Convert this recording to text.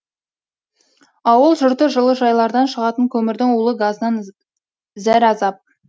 ауыл жұрты жылыжайлардан шығатын көмірдің улы газынан зәразап